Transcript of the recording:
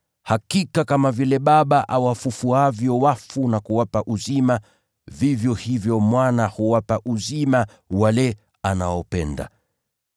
Hakika kama vile Baba awafufuavyo wafu na kuwapa uzima, vivyo hivyo Mwana huwapa uzima wale anaopenda.